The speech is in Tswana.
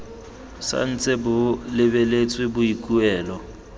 sa ntse bo lebeletse boikuelo